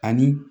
Ani